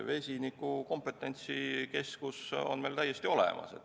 Vesiniku kompetentsikeskus on meil täiesti olemas.